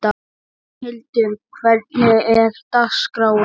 Magnhildur, hvernig er dagskráin?